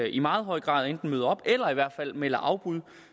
i meget høj grad enten møder op eller i hvert fald melder afbud